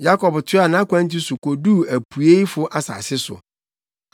Yakob toaa nʼakwantu so koduu apueifo asase so.